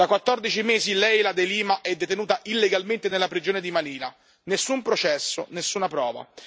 Da 14 mesi Leila De Lima è detenuta illegalmente nella prigione di Manila nessun processo, nessuna prova.